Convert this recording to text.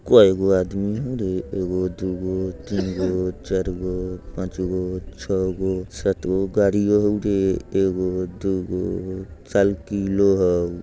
कइगो आदमी हउ रे एगो दुगो तीनगो चारगो पाँचगो छगो सातगो। गाडियों हउ रे एगो दुगो साइकिलो हउ।